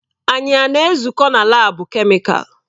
Anyị a na-ezukọ na laabu kemịkalụ?